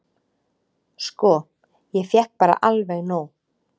"""Sko, ég fékk bara alveg nóg."""